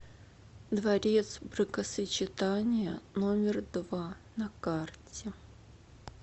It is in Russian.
дворец бракосочетания номер два на карте